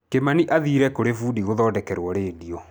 Kimani aathire kũrĩ bundi gũthondekerwo redio.